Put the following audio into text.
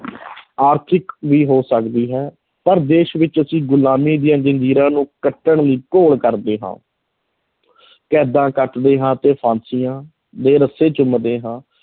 ਆਰਥਿਕ ਵੀ ਹੋ ਸਕਦੀ ਹੈ, ਪਰ ਦੇਸ਼ ਵਿੱਚ ਅਸੀਂ ਗੁਲਾਮੀ ਦੀਆਂ ਜ਼ੰਜੀਰਾਂ ਨੂੰ ਕੱਟਣ ਦੀ ਘੋਲ ਕਰਦੇ ਹਾਂ ਕੈਦਾਂ ਕੱਟਦੇ ਹਾਂ ਅਤੇ ਫਾਂਸੀਆਂ ਦੇ ਰੱਸੇ ਚੁੰਮਦੇ ਹਾਂ,